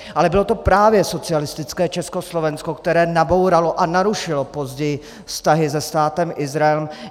Ale bylo to právě socialistické Československo, které nabouralo a narušilo později vztahy se Státem Izrael.